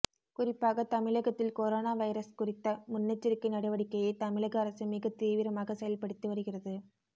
குறிப்பாக தமிழகத்தில் corona virus குறித்த முன்னெச்சரிக்கை நடவடிக்கையை தமிழக அரசு மிக தீவிரமாக செயல்படுத்தி வருகிறது